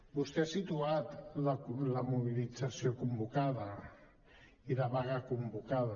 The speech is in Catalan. vostè ha situat la mobilització convocada i la vaga convocada